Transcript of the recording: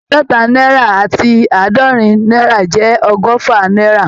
Àádọ́ta náírà àti àádọ́rin náírà jẹ́ ọgọ́fà náírà